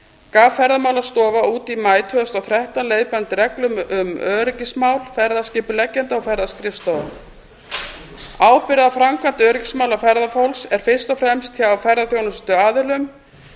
gaf ferðamálastofa út í maí tvö þúsund og þrettán leiðbeinandi reglur um öryggismál ferðaskipuleggjenda og ferðaskrifstofa ábyrgð á framkvæmd öryggismála ferðafólks er fyrst og fremst hjá ferðaþjónustuaðilum